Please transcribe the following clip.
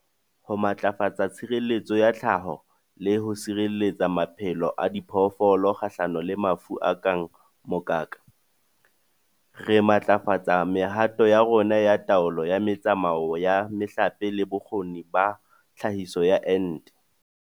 Ho matlafatsa tshireletso ya tlhaho le ho sireletsa maphelo a diphoofolo kgahlano le mafu a kang mokaka, re matlafatsa mehato ya rona ya taolo ya metsamao wa mehlape le bokgoni ba tlhahiso ya ente.